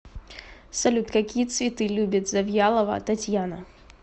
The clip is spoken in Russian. салют какие цветы любит завьялова татьяна